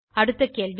அடுத்த கேள்வி